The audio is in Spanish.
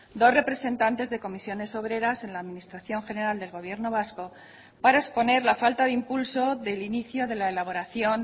dos representantes de comisiones obreras en la administración general del gobierno vasco para exponer la falta de impulso del inicio de la elaboración